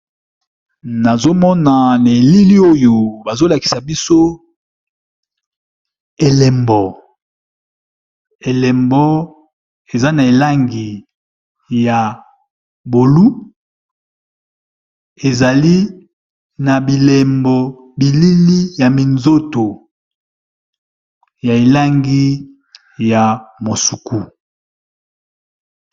Nazo mona na eilili oyo bazo lakisa biso elembo elembo eza na elangi ya bolu ezali na bilembo bilili ya minzoto ya elangi ya mosuku.